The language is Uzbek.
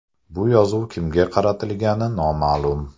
Bu yozuv kimga qaratilgani noma’lum.